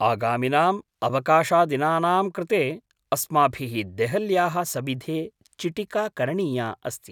आगामिनाम् अवकाशदिनानां कृते अस्माभिः देहल्याः सविधे चिटिका करणीया अस्ति।